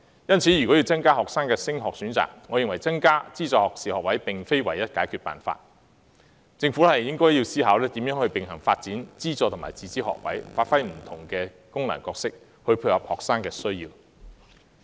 因此，要增加學生的升學選擇，我認為增加資助學士學位並非唯一解決辦法，政府應思考如何並行發展資助及自資學位，發揮不同的功能，來配合學生的需要。